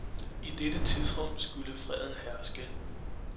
I dette tidsrum skulle freden herske.